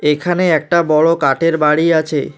এখানে একটা বড়ো কাঠের বাড়ি আছে।